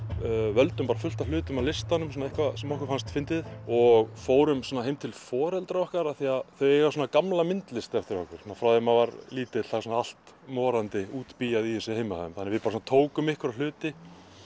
völdum bara fullt af hlutum af listanum eitthvað sem okkur fannst fyndið og fórum heim til foreldra okkar af því að þau eiga gamla myndlist eftir okkur svona frá því að maður var lítill það er allt morandi útbíað í þessu heima þannig að við tókum einhverja hluti